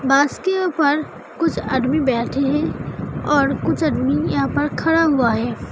बस के ऊपर कुछ आदमी बैठे हैं और कुछ आदमी यहाँ पर खड़ा हुआ है।